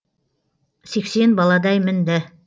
сексен баладай мінді